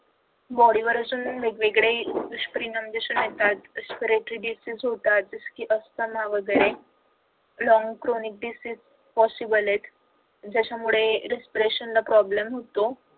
body वर असे वेगवेगळे दुष्परिणाम दिसून येतात disease होतात अस्थमा वगैरे long chronic disease possible आहेत. ज्याच्यामुळे respiration problem होतो